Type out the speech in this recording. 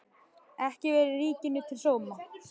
Ekki verið Þriðja ríkinu til sóma.